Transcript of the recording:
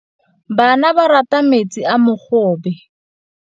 Bana ba rata metsi a mogobe.